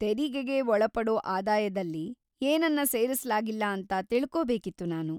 ತೆರಿಗೆಗೆ ಒಳಪಡೋ ಆದಾಯ್ದಲ್ಲಿ ಏನನ್ನ ಸೇರಿಸ್ಲಾಗಿಲ್ಲ ಅಂತ ತಿಳ್ಕೊಬೇಕಿತ್ತು ನಾನು.